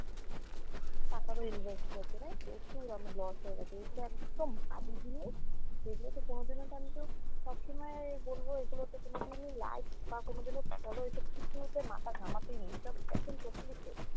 তারপরও invest করেছিলাম প্রচুর আমার loss হয়ে গেছে এগুলো একদম বাজে জিনিস এগুলো তে কোনদিনও আমিতো সবসময় বলবো এগুলোতে কোনোদিনই like বা কোনোদিনও follow এইসব কিছুতে মাথা ঘামাতেই নেই এসব একদম totally fake